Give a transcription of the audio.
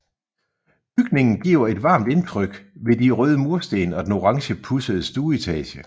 Bygningen giver et varmt indtryk ved de røde mursten og den orange pudsede stueetage